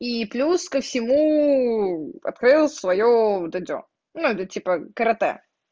и плюс ко всему открыла своё дзюдо ну типа каратэ